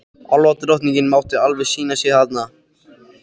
Álfadrottningin mátti alveg sýna sig þarna.